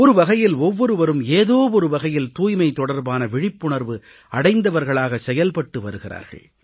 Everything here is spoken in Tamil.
ஒரு வகையில் ஒவ்வொருவரும் ஏதோ ஒரு வகையில் தூய்மை தொடர்பான விழிப்புணர்வு அடைந்தவர்களாக செயல்பட்டு வருகிறார்கள்